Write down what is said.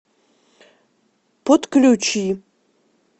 подключи